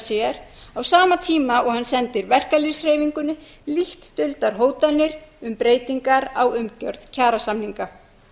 sér á sama tíma og hann sendir verkalýðshreyfingunni lítt duldar hótanir um breytingar á umgjörð kjarasamninga